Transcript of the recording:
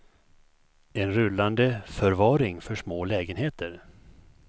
En rullande förvaring för små lägenheter.